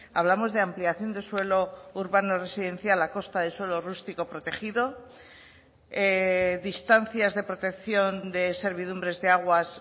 hablamos de ampliación de suelo urbano residencial a costa de suelo rústico protegido distancias de protección de servidumbres de aguas